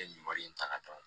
N ye nin wari in ta ka d'a ma